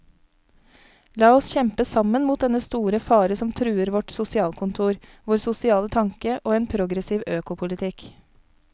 La oss kjempe sammen mot dennne store fare som truer vårt sosialkontor, vår sosiale tanke og en progressiv økopolitikk.